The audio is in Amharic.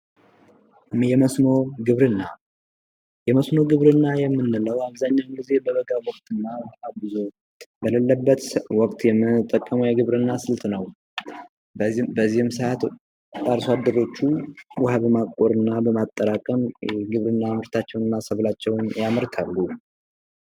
የመስኖ ግብርና የመስኖ ግብርና የምንለው አብዛኛውን ጊዜ በበጋ ወቅትና ውሀ ብዙ በለለበት ወቅት የምንጠቀመው የግብርና ስልት ነው። በዚህም ሰአት አርሷደሮቹ ውሀ በማቆርና በማጠራቀም ግብርና ምርታቸውን ሰብላቸውን ያመርታሉ።